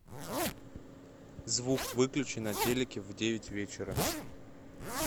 звук выключи на телике в девять вечера